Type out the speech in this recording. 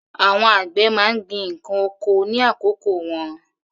Àwọn àgbẹ̀ má ń gbin ǹkan oko ní àkókò wọn.